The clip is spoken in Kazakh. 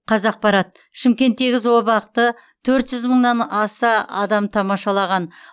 қазақпарат шымкенттегі зообақты төрт жүз мыңнан аса адам тамашалаған